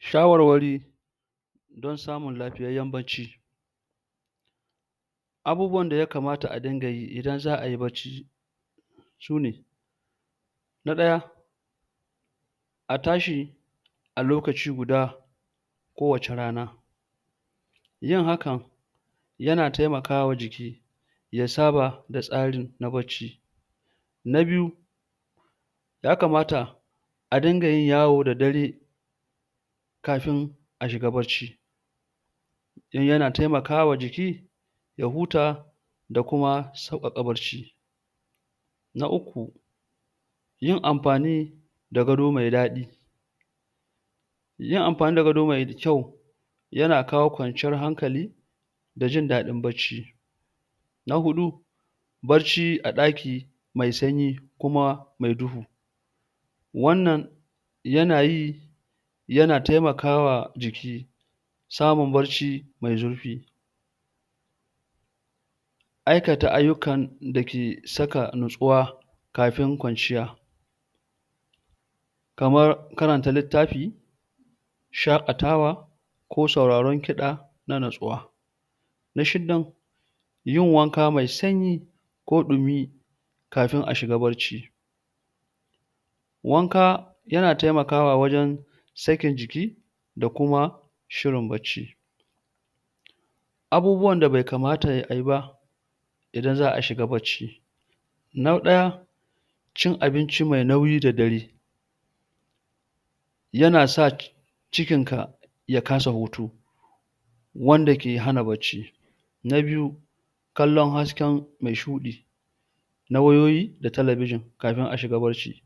shawarwari don samun lafiyayyen abubuwan da yakamata a dinga yi idan zaayi bacci sune na ɗaya a tashi a lokaci guda kowacce rana yin hakan yana taimakawa jiki ya saba da tsari na bacci na biyu ya kamata a dinga yin yawo da dare kafin a shiga bacci don yana taimakawa jiki ya huta da kuma sauƙaƙa bacci na uku yin amfani da gado mai daɗi yin amfani da gado mai kyau yana kawo kwanciyar hankali da jin daɗin bacci na huɗu bacci a ɗaki mai sanyi kuma mai duhu wannan yanayi yana taimakawa jiki samun bacci mai zurfi aikata aiyukan dake saka nutsuwa kafin kwanciya kamar karanta littafi shaƙatawa ko sauraron ƙiɗa na nutsuwa na shidan yin wanka mai sanyi ko ɗumi kafin a shiga bacci wanka yana taimakawa wajen sakin jiki da kuma hirin bacci abubuwan da bai kamata ayi ba idan za'a shiga bacci na ɗaya in abinci mai nauyi da dare yana sa cikin ka ya kasa hutu anda ke hana bacci na biyu kallon hasken mai shuɗi na wayoyi da telebijin kafin a shiga bacci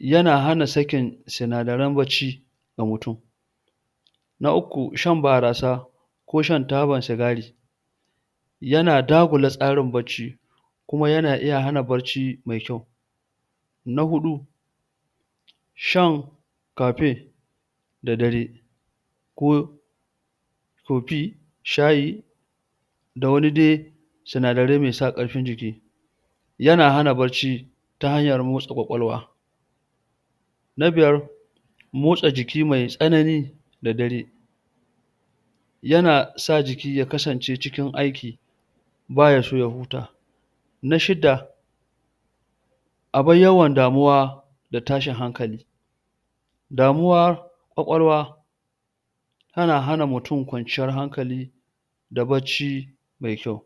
yana hana sakin inadaren bacci ga mutum na uku shan barasa ko shan taban sigari yana dagula tsarin bacci kuma yana iya hana bacci mai kyau na huɗu shan coffee da dare ko toffee shayi da wani dai sinadarai mai sa ƙarfin jiki yana hana bacci ta hanyar motsa kwakwalwa na biyar otsa jiki mai tsanani da dare yana a jiki ya kasance cijin aiki baya son ya huta na shida abar yawan damuwa da tashin hankali damuwa kwakwalwa yana hana mutum kwanciyar hankali da bacci mai kyau